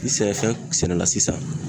Ni sɛnɛfɛn sɛnɛla sisan